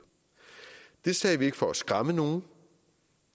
det sagde vi ikke for at skræmme nogen